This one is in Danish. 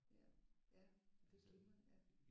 Ja ja det er glimrende ja